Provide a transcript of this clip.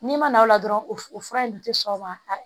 N'i ma na aw la dɔrɔn o fura in dun ti sɔn o ma